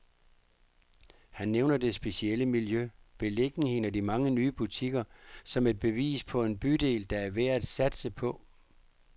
Han nævner det specielle miljø, beliggenheden og de mange nye butikker, som et bevis på en bydel, der er værd at satse på.